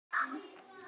Átt þú konu?